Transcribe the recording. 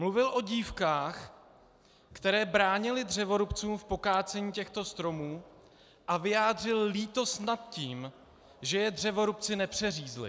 Mluvil o dívkách, které bránily dřevorubcům v pokácení těchto stromů, a vyjádřil lítost nad tím, že je dřevorubci nepřeřízli.